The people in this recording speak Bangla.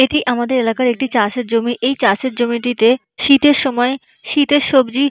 এটি আমাদের এলাকার একটি চাষ এর জমি। এই চাষের জমি টিতে শীত এর সময় শীত এর সবজি--ন